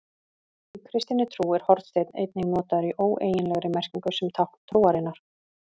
Í kristinni trú er hornsteinn einnig notaður í óeiginlegri merkingu sem tákn trúarinnar.